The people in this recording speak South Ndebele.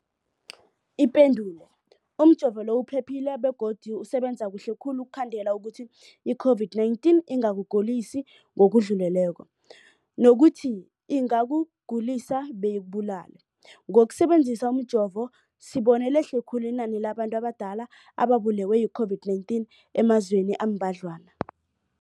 Ipendulo, umjovo uphephile begodu usebenza kuhle khulu ukukhandela ukuthi i-COVID-19 ingakugulisi ngokudluleleko, nokuthi ingakugulisi beyikubulale. Ngokusebe nzisa umjovo, sibone lehle khulu inani labantu abadala ababulewe yi-COVID-19 emazweni ambadlwana.